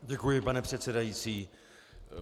Děkuji, pane předsedající.